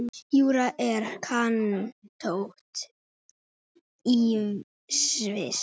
Júra er kantóna í Sviss.